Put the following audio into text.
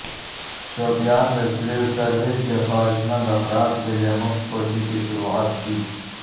شوپیان میں civil service کے خواہشمند افراد کے لئے مفت کوچنگ کی شروعات کی